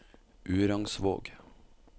Urangsvåg